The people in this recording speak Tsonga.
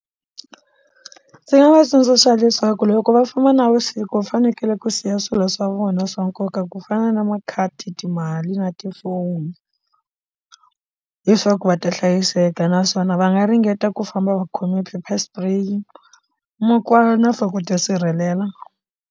Ndzi nga va tsundzuxa leswaku loko va famba navusiku va fanekele ku siya swilo swa vona swa nkoka ku fana na makhadi timali na tifoni leswaku va ta hlayiseka naswona va nga ringeta ku famba va khome paper spray makwala na for ku dya sirhelela.